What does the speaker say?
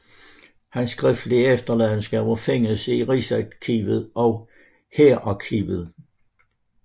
Hans skriftlige efterladenskaber findes i Rigsarkivet og Hærarkivet